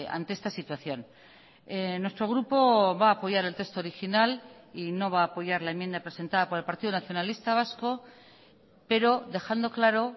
ante esta situación nuestro grupo va a apoyar el texto original y no va a apoyar la enmienda presentada por el partido nacionalista vasco pero dejando claro